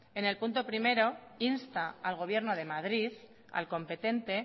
en el punto primero insta al gobierno de madrid al competente